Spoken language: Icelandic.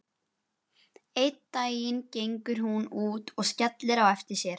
Einn daginn gengur hún út og skellir á eftir sér.